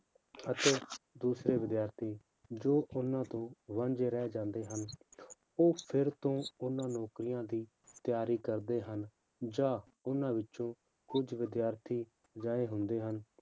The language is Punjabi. ਅਤੇ ਦੂਸਰੇ ਵਿਦਿਆਰਥੀ ਜੋ ਉਹਨਾਂ ਤੋਂ ਵਾਂਝੇ ਰਹਿ ਜਾਂਦੇ ਹਨ, ਉਹ ਫਿਰ ਤੋਂ ਉਹਨਾਂ ਨੌਕਰੀਆਂ ਦੀ ਤਿਆਰੀ ਕਰਦੇ ਹਨ, ਜਾਂ ਉਹਨਾਂ ਵਿੱਚੋਂ ਕੁੱਝ ਵਿਦਿਆਰਥੀ ਅਜਿਹੇ ਹੁੰਦੇ ਹਨ,